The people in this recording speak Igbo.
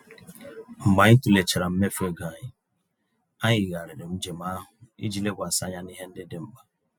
Mgbe anyị tụlechara mmefu égo anyị, anyị yigharịrị njem ahụ iji lekwasị anya n'ihe ndị dị mkpa